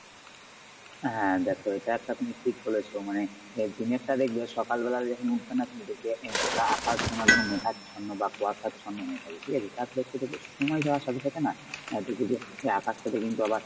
হ্যাঁ দেখ এটা একটা তুমি ঠিক বলেছ মানে এ দিনেরটা দেখবে সকালবেলাতে উঠবে না তুমি দেখবে গোটা আকাশ মানে একদম মেঘাচ্ছন্ন বা কুয়াশাচ্ছন্ন হয়ে থাকে ঠিকাছে তারপর একটু দেখবে সময় যাওয়ার সাথে সাথে না আহ দেখবে যে আকাশটাতে কিন্তু আবার